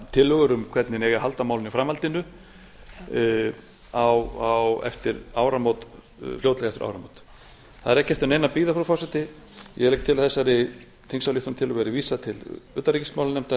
tillögur um hvernig eigi að halda á málinu í framhaldinu fljótlega eftir áramót það er ekki eftir neinu að bíða frú forseti ég legg til að þessari þingsályktunartillögu verði vísað til utanríkismálanefndar